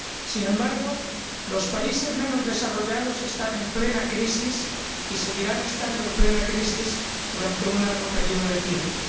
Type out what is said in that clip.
Sin embargo, los países menos desarrollados están en plena crisis y seguirán estando en plena crisis durante un largo período de tiempo.